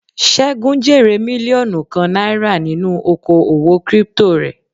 Segun jèrè mílíọ̀nù kan náírà nínú oko òwò crypto rẹ̀.